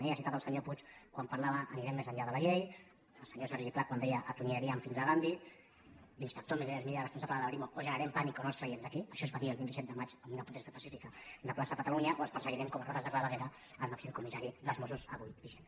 ell ha citat el senyor puig quan parlava anirem més enllà de la llei el senyor sergi pla quan deia atonyinaríem fins a gandhi l’inspector miguel hermida responsable de la brimo o generem pànic o no els traiem d’aquí això es va dir el vint set de maig en una protesta pacífica de plaça catalunya o els perseguirem com a rates de claveguera el màxim comissari dels mossos avui vigent